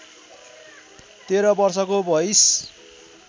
१३ वर्षको भइस्